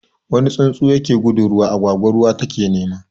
Wuni tsuntsu yake gudun ruwa, agwagwa ruwa ta ke nema